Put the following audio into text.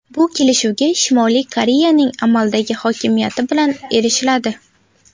Bu kelishuvga Shimoliy Koreyaning amaldagi hokimiyati bilan erishiladi.